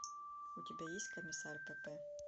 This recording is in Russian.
у тебя есть комиссар пепе